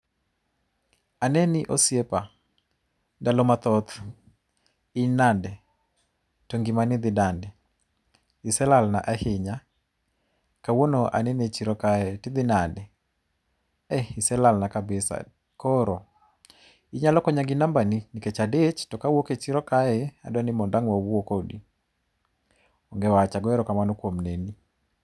Aneni osiepa. Ndalo mathoth, in nade, to ngimani dhi nade? Ise lalana ahinya. Kawuono aneni e chiro kae, tidhi nade? Ee, iselalna kabisa. Koro, inyalo konya kod namba ni nikech adich tokawuok e chiro kae, tadwa mondo ang' wawuo kodi. Onge wach, agoyo erokamano kuom neni.